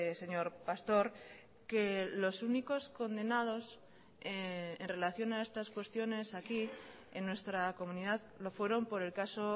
señor pastor que los únicos condenados en relación a estas cuestiones aquí en nuestra comunidad lo fueron por el caso